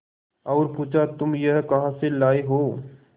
और पुछा तुम यह कहा से लाये हो